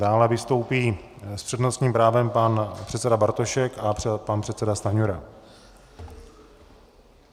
Dále vystoupí s přednostním právem pan předseda Bartošek a pan předseda Stanjura.